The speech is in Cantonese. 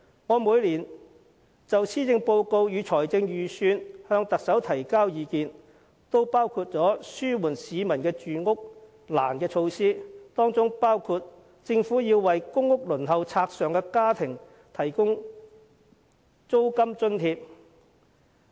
我每年就施政報告和財政預算案向特首提交意見時，均有建議紓緩市民住屋困難的措施，其中包括政府須為公屋輪候冊上的家庭提供租金津貼。